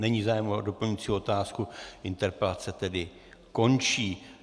Není zájem o doplňující otázku, interpelace tedy končí.